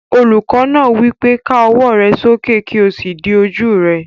Olùkọ́ náà wí pé, "Ká ọwọ́ rẹ sókè kí o sì di ojú rẹ!"